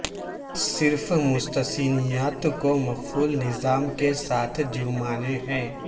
صرف مستثنیات کو مقفل نظام کے ساتھ جرمانے ہیں